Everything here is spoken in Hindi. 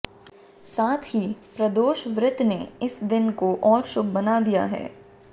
साथ ही प्रदोष व्रत ने इस दिन को और शुभ बना दिया है